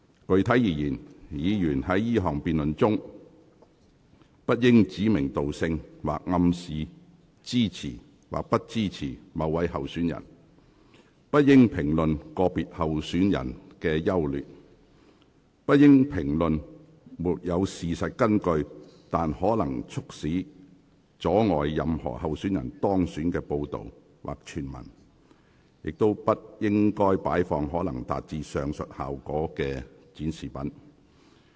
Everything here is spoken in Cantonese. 具體而言，議員在這項辯論中不應指名道姓，或暗示支持或不支持某位候選人；不應評論個別候選人的優劣；不應評論沒有事實根據但可能會促使或阻礙任何候選人當選的報道或傳聞；以及不應擺放可能會達致上述效果的展示品。